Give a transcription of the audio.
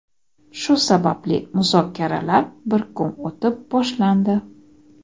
shu sababli muzokaralar bir kun o‘tib boshlandi.